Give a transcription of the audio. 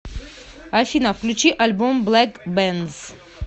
афина включи альбом блэк бэнз